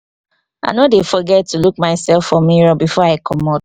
i no dey forget to look mysef for mirror before i comot.